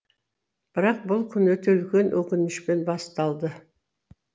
бірақ бүл күн өте үлкен өкінішпен басталды